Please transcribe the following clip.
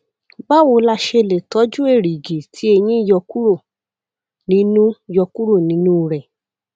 báwo la ṣe lè tọjú èrìgì tí eyín yọ kúrò nínú yọ kúrò nínú rẹ